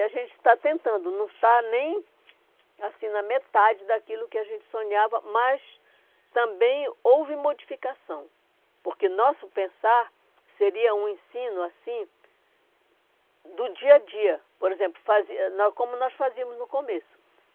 E a gente está tentando, não está nem assim na metade daquilo que a gente sonhava, mas também houve modificação, porque nosso pensar seria um ensino assim do dia a dia, por exemplo, fazer como nós fazíamos no começo.